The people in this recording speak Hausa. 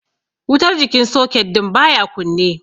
Wutar jikin soket din baya kunne.